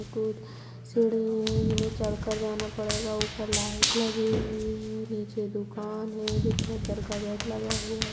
कूद सीढ़ी है जिन्हे चढ़कर जाना पड़ेगा ऊपर लाइट लगी हुई है नीचे दुकान है जो चद्दर का घर लगा हुआ है।